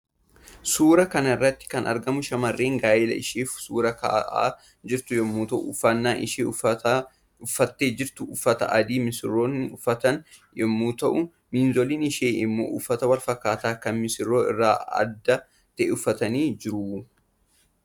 Suuraa kanarratti kan argaman shamarree gaa'ela isheef suuraa ka'aa jirtu yommuu ta'u uffannan isheen uffatte jirtu uffata adii misirtoonni uffatan yommuu ta'uu miizoloin ishee immo uffata walfakkaataa kan misirroo irraa adda ta'e uffatanii jiru